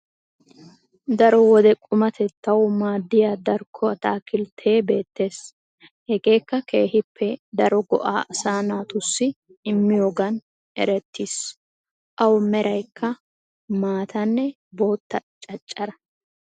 Daaro wode quumattetawu maaddiyaa darkko ataakkilltee beettees. Hegeekka keehippe daaro go'aa asaa naatussi immiyogaan eerettis. Awu meraaykka maataanne botta caaccaraa.